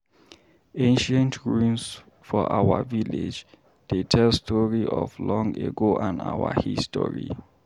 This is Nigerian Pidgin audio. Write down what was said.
Ancient ruins for our village dey tell story of long ago and our history.